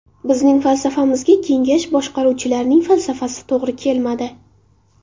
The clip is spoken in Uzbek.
Bizning falsafamizga kengash boshqaruvchilarining falsafasi to‘g‘ri kelmadi.